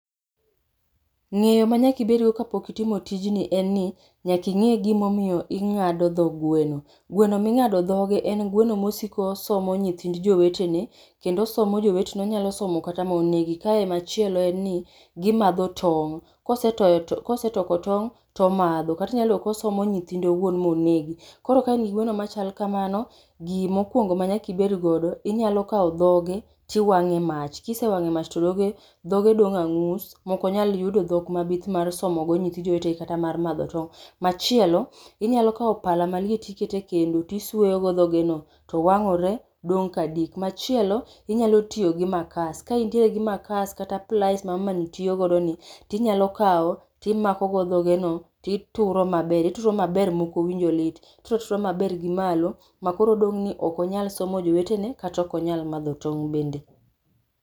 Ng'eyo ma nyakibedgo kapok itimo tijni en ni nyaking'e gimomiyo ing'ado dho gweno. Gweno ming'ado dhoge en gweno mosiko somo nyithind jowetene, kendo osomo jowetene. Onyalo somo kata monegi. Kae machielo en ni gimadho tong', kosetoyo to kosetoko tong' tomadho. Kata inyalo yudo kosomo nyithinde owuon monegi. Koro kain gi gweno machal kamano, gimokwongo manyakibedgodo, inyalokawo dhoge tiwang'e mach. Kisewang'e mach to dhoge dong' ang'us mokonyal yudo dhok mabith mar somo nyithi jowetegi kata mar madho tong'. Machielo, inyalo kawo pala maliet tikete kendo tisuoyogo dhoge no to wang'ore dong ka dik. Machielo, inyalotiyo gi makas. Ka intiere gi makas kata plais ma mama ni tiyogodo ni, tinyalo kawo timakogo dhogeno tituro maber. Itudo maber mokowinjo lit, ituratura maber gi malo. Ma koro odong' ni okonyal somo jowetene kata okanyal madho tong' bende.